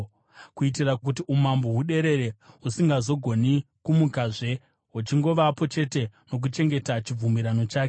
kuitira kuti umambo huderere, husingazogoni kumukazve, huchingovapo chete nokuchengeta chibvumirano chake.